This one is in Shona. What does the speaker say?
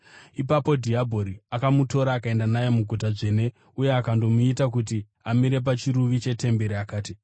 Ipapo dhiabhori akamutora akaenda naye muguta dzvene uye akandomuita kuti amire pachiruvi chetemberi, akati,